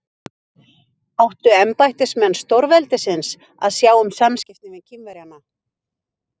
Áttu embættismenn stórveldisins að sjá um samskiptin við Kínverjana?